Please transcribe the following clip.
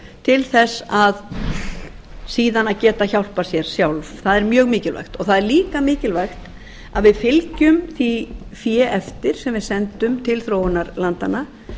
til þess síðan að geta hjálpað sér sjálft það er mjög mikilvægt og það er líka mikilvægt að við fylgjum því fé eftir sem við sendum til þróunarlandanna